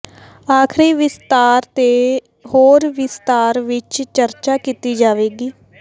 ਆਖ਼ਰੀ ਵਿਸਥਾਰ ਤੇ ਹੋਰ ਵਿਸਤਾਰ ਵਿੱਚ ਚਰਚਾ ਕੀਤੀ ਜਾਵੇਗੀ